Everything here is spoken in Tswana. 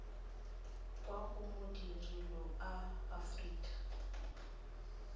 kwa go madirelo a aforika